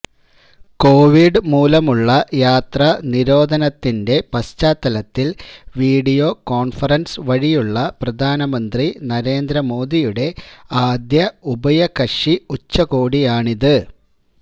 Covid മൂലമുള്ള യാത്രാ നിരോധനത്തിന്റെ പശ്ചാത്തലത്തില് വീഡിയോ കോണ്ഫറന്സ് വഴിയുള്ള പ്രധാനമന്ത്രി നരേന്ദ്ര മോദിയുടെ ആദ്യ ഉഭയകക്ഷി ഉച്ചകോടിയാണിത്